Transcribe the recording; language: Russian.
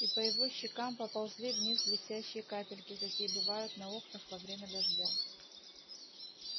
и по его щекам поползли вниз блестящие капельки какие бывают на окнах во время дождя